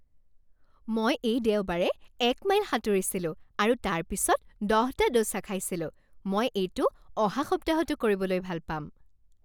মই এই দেওবাৰে এক মাইল সাঁতুৰিছিলো আৰু তাৰপিছত দহটা ডোছা খাইছিলোঁ। মই এইটো অহা সপ্তাহতো কৰিবলৈ ভাল পাম।